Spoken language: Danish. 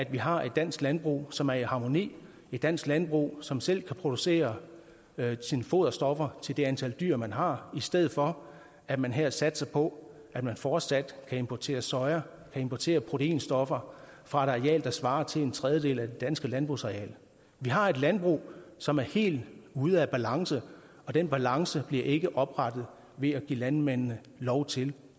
vi har et dansk landbrug som er i harmoni et dansk landbrug som selv kan producere sine foderstoffer til det antal dyr man har i stedet for at man her satser på at man fortsat kan importere soja importere proteinstoffer fra et areal der svarer til en tredjedel af det danske landbrugsareal vi har et landbrug som er helt ude af balance og den balance bliver ikke oprettet ved at give landmændene lov til